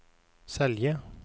Selje